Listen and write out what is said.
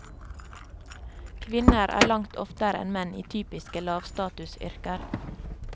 Kvinner er langt oftere enn menn i typiske lavstatusyrker.